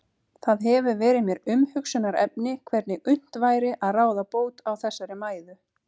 Það hefur verið mér umhugsunarefni hvernig unnt væri að ráða bót á þessari mæðu.